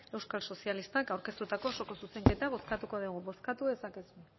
euskal sozialistak aurkeztutako osoko zuzenketa bozkatuko dugu bozkatu dezakezue